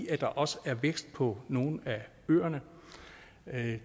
at der også er vækst på nogle af øerne